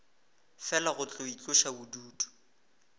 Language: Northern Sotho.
fela go tlo itloša bodutu